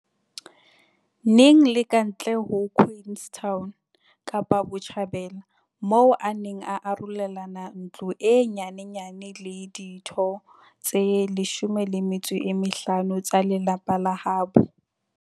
Eng le kantle ho Queenstown, Kapa Botjhabela, moo a neng a arolelana ntlo e nyenyane le ditho tse 15 tsa lelapa la habo.